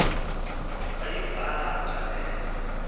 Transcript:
wayibhaqa le nto